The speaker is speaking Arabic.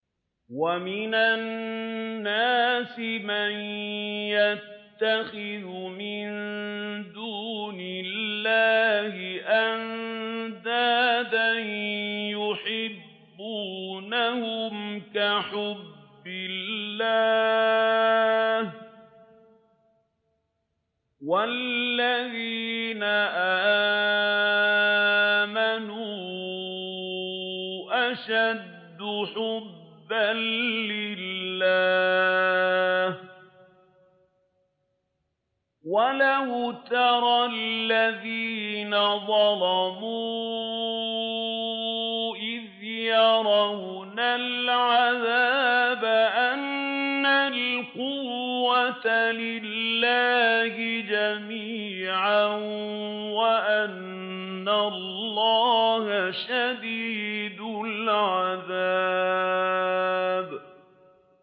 وَمِنَ النَّاسِ مَن يَتَّخِذُ مِن دُونِ اللَّهِ أَندَادًا يُحِبُّونَهُمْ كَحُبِّ اللَّهِ ۖ وَالَّذِينَ آمَنُوا أَشَدُّ حُبًّا لِّلَّهِ ۗ وَلَوْ يَرَى الَّذِينَ ظَلَمُوا إِذْ يَرَوْنَ الْعَذَابَ أَنَّ الْقُوَّةَ لِلَّهِ جَمِيعًا وَأَنَّ اللَّهَ شَدِيدُ الْعَذَابِ